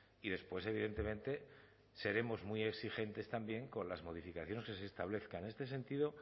y después evidentemente seremos muy exigentes también con las modificaciones que se establezcan en este sentido